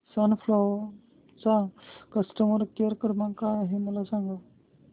सन Pharma चा customer care क्रमांक काय आहे मला सांगा